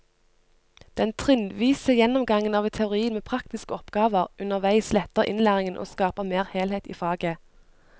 Den trinnvise gjennomgangen av teorien med praktiske oppgaver underveis letter innlæringen og skaper mer helhet i faget.